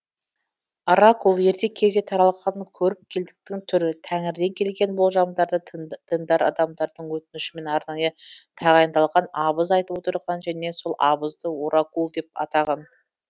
оракул ерте кезде таралған көріпкелдіктің түрі тәңірден келген болжамдарды діндар адамдардың өтінішімен арнайы тағайындалған абыз айтып отырған және сол абызды оракул деп атаған